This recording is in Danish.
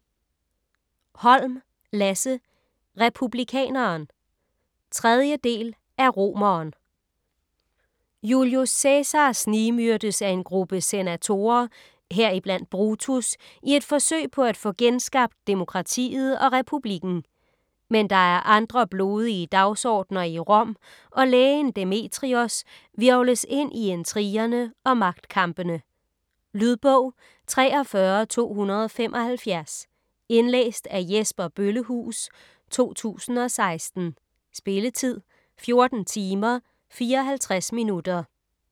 Holm, Lasse: Republikaneren 3. del af Romeren. Julius Cæsar snigmyrdes af en gruppe senatorer - heriblandt Brutus - i et forsøg på at få genskabt genskabt demokratiet og republikken. Men der er andre blodige dagsordner i Rom, og lægen Demetrios hvirvles ind i intrigerne og magtkampene. Lydbog 43275 Indlæst af Jesper Bøllehuus, 2016. Spilletid: 14 timer, 54 minutter.